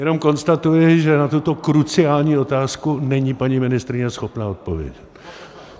Jenom konstatuji, že na tuto kruciální otázku není paní ministryně schopna odpovědět.